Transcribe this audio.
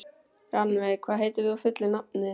Rannveig, hvað heitir þú fullu nafni?